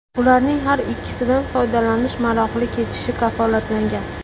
Ularning har ikkisidan foydalanish maroqli kechishi kafolatlangan.